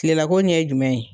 kilela ko ɲɛ jumɛn ye